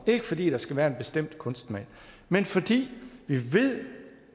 ikke fordi der skal være en bestemt kunstsmag men fordi vi ved